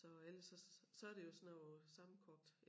Så ellers så så det jo sådan noget sammenkogt